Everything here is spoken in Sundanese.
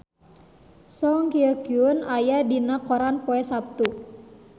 Song Hye Kyo aya dina koran poe Saptu